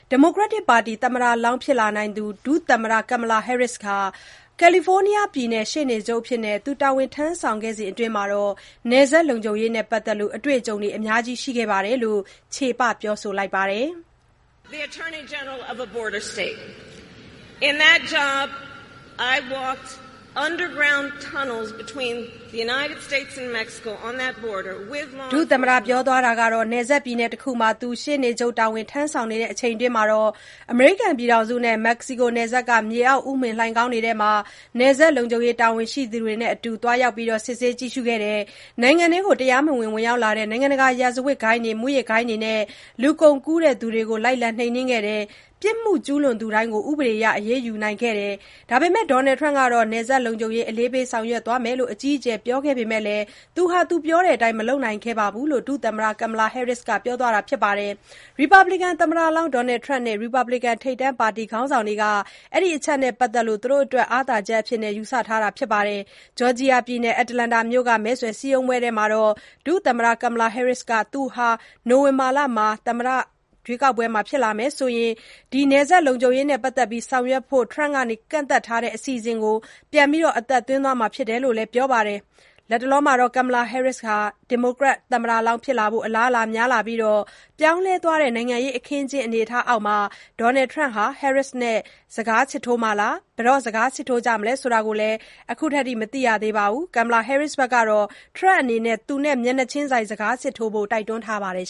ဒီမိုကရက်ပါတီ သမ္မတလောင်း ဖြစ်လာနိုင်သူ ဒုသမ္မတ Kamala Harris ကာလီဖိုးနီးယားပြည်နယ် ရှေ့နေချုပ်အဖြစ် တာဝန် ထမ်းဆောင်စဉ်အတွင်း နယ်စပ်လုံခြုံရေးနဲ့ ပတ်သတ်ပြီး အတွေ့အကြုံတွေ အများကြီး ရှိခဲ့ကြောင်း ချေပ ပြောဆိုပါတယ်။ “နယ်စပ် ပြည်နယ်တခုမှာ ရှေ့နေချုပ်တာဝန် ထမ်းဆောင်နေစဉ်အတွင်း အမေရိကန်နဲ့ မက္ကစီကိုနယ်စပ်က မြေအောက် ဥမင်လှိုင်ခေါင်းတွေထဲ နယ်စပ်လုံခြုံရေး တာဝန်ရှိသူတွေနဲ့အတူ သွားရောက် စစ်ဆေးကြည့်ရှုခဲ့ပါတယ်။ နိုင်ငံထဲကို တရားမဝင် ဝင်ရောက်လာတဲ့ နိုင်ငံတကာ ရာဇဝတ်ဂိုဏ်းတွေ၊ မူးယစ်ဂိုဏ်းတွေနဲ့ လူကုန်ကူးသူတွေကိုလည်း လိုက်လံ နှိမ်နင်းခဲ့ပါတယ်။ ပြစ်မှုကျူးလွန်သူတိုင်းကိုလည်း ဥပဒေအရ အရေးယူနိုင်ခဲ့ပါတယ်။ ဒါပေမယ့် Donald Trump ကတော့ နယ်စပ်လုံခြုံရေး အလေးပေး ဆောင်ရွက်သွားမယ်လို့ အကြီးအကျယ် ပြောခဲ့ပေမယ့်လည်း သူ ပြောတဲ့အတိုင်း မလုပ်နိုင်ခဲ့ပါဘူး” - လို့ ဒုသမ္မတ Kamala Harris က ပြောသွားတာပါ။ ရီပတ်ဘလစ်ကန် သမ္မလောင်း Donald Trump နဲ့ ရီပတ်ဘလစ်ကန် ထိပ်တန်း ပါတီခေါင်းဆောင်တွေက ဒီအချက်နဲ့ပတ်သတ်လို့ သူတို့အတွက် အားသာချက်အဖြစ် ယူဆထားတာပါ။ Georgia ပြည်နယ်၊ Atlanta မြို့က မဲဆွယ်စည်းရုံးပွဲအတွင်း Kamala Harris က သူသာ နိုဝင်ဘာမှာ သမ္မတ ဖြစ်လာမယ်ဆိုရင် နယ်စပ်လုံခြုံရေးနဲ့ ပတ်သတ်ပြီး ဆောင်ရွက်ဖို့ Trump က ကန့်ကွက်ထားတဲ့ အစီအစဉ်ကို ပြန်လည် အသက်သွင်းသွားမှာဖြစ်တယ်လို့လည်း ပြောပါတယ်။ Kamala Harris ဒီမိုကရက် သမ္မတလောင်းဖြစ်လာဖို့ အလားအလာတွေ များလာပြီးနောက် ပြောင်းလဲသွားတဲ့ နိုင်ငံရေး အခင်းအကျင်း အနေအထားအောက်မှာ Donald Trump ဟာ Harris နဲ့ စကားစစ်ထိုးမှာလား၊ ဘယ်တော့ စကားစစ်ထိုးကြမလဲဆိုတာ ခုထိ မသိရသေးပါဘူး။ Kamala Harris ကတော့ Trump အနေနဲ့ မျက်နှာချင်းဆိုင် စကားစစ်ထိုးဖို့ တိုက်တွန်းထားပါတယ်